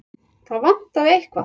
Það vantaði eitthvað.